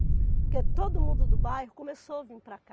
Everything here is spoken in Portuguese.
Porque todo mundo do bairro começou a vir para cá.